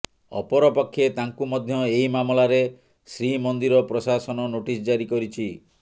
ଅପରପକ୍ଷେ ତାଙ୍କୁ ମଧ୍ୟ ଏହି ମାମଲାରେ ଶ୍ରୀମନ୍ଦିର ପ୍ରଶାସନ ନୋଟିସ ଜାରି କରିଛି